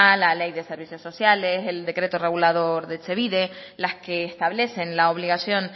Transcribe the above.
la ley de servicios sociales el decreto regulador de etxebide las que establecen la obligación